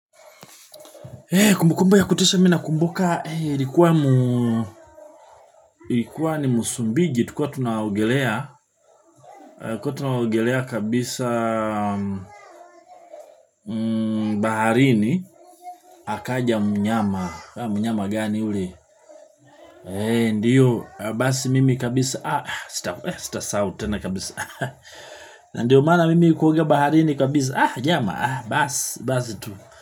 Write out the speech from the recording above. Kumbukumba ya kutisha mimi na kumbuka, ilikuwa ni musumbiji, tukiwa tunaogelea kabisa baharini, akaja mnyama, mnyama gani yule? Ndiyo, basi mimi kabisa, ah, sitasau tena kabisa, ah, ndiyo mana mimi kuogea baharini kabisa, ah, jama, ah, basi, basi tu.